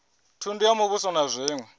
thundu ya muvhuso na zwiṅwe